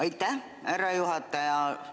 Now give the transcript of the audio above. Aitäh, härra juhataja!